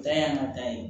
Dan y'an ka ta ye